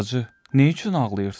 Bacı, nə üçün ağlayırsan?